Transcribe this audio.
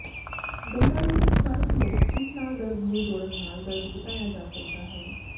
ਦੰਦਾਂ ਦੇ ਵਿਚਕਾਰ ਫਲੌਸ ਜਿਸ ਨਾਲ ਦਰਦ ਨੂੰ ਜੋੜਨ ਨਾਲ ਦਰਦ ਵਧਾਇਆ ਜਾ ਸਕਦਾ ਹੈ